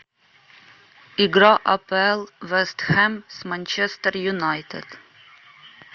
игра апл вест хэм с манчестер юнайтед